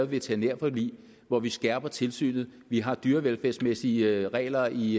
veterinærforlig hvor vi skærper tilsynet vi har dyrevelfærdsmæssige regler i